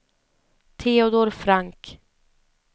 Teodor Frank